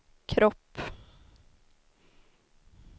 kropp